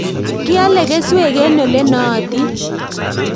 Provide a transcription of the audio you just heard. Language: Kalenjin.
Kiale keswek eng' ole nootin